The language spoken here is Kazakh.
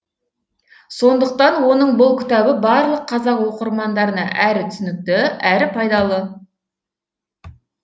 сондықтан оның бұл кітабы барлық қазақ оқырмандарына әрі түсінікті әрі пайдалы